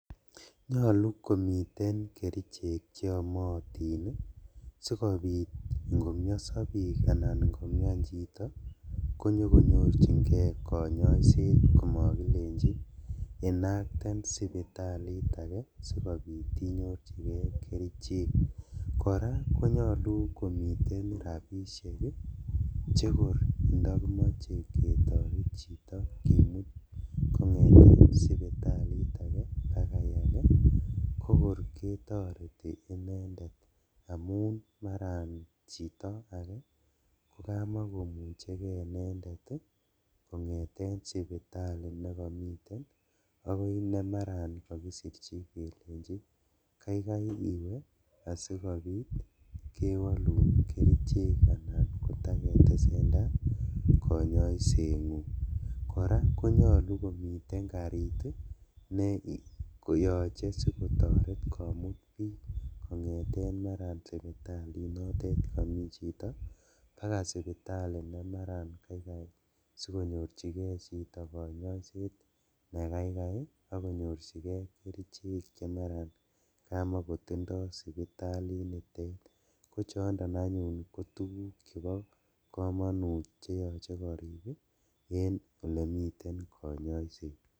Nyolu komiten kerichek cheomotin ii sikobit ingomioso bik aban inkomian chito konyorjingee konyoiset komikilenji inakten sipitalit ake sikobit inyorjigee kerichek, koraa konyolu komiten rabishek ii chekor indokimoche ketoret chito kimut kongeten sipitalit ake bakai ake kokor ketoreti inendet amun maran chito ake kokamakomuche kee inendet ii kongeten sipitali nekomiten akoi nemaran kokisirji kelenji kaikai iwe asikobit kewolun kerichek anan kotaketesendaa konyoisengung, koraa konyolu komiten karit ii neyoche sikotoret komut bik kongeten maran sipitalinotet nemi chito bakaa sipitali nemaran kaikai sikonyorjigee chito konyoiset nekaikai ii ak konyorjigee kerichek chemaran komokotindoi sipitalitet kochondon anyun kotuguk chebo komonut cheyoche korik en ole miten konyoiset.